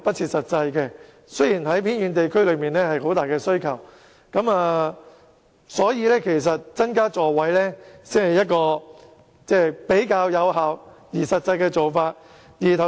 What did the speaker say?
即使在一些偏遠地區仍有很大需求，但增加座位才是一種較為有效和實際的做法。